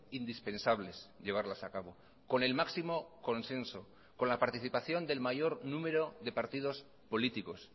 indispensables llevarlas a cabo con el máximo consenso con la participación del mayor número de partidos políticos